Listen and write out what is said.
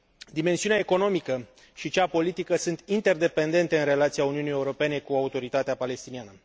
Dimensiunea economică și cea politică sunt interdependente în relația Uniunii Europene cu Autoritatea palestiniană.